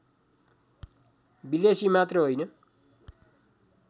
विदेशी मात्र होइन